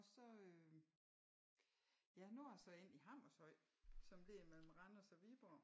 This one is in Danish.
Og så ja nu a så endt i Hammershøj som ligger mellem Randers og Viborg